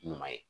Ɲuman ye